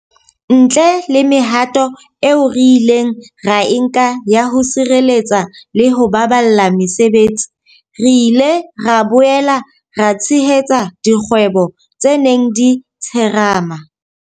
Ntle le mehato eo re ileng ra e nka ya ho sireletsa le ho baballa mesebetsi, re ile ra boela ra tshehetsa dikgwebo tse neng di tsherema.